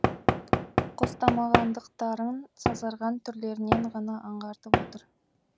қостамағандықтарын сазарған түрлерінен ғана аңғартып отыр